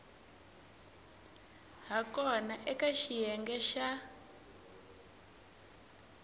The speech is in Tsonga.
ha kona eka xiyenge xa